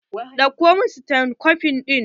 Ɗauko min stethoscope ɗin!